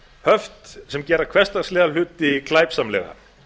höft sem gera hversdagslega hluti glæpsamlega